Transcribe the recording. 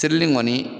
Sirili kɔni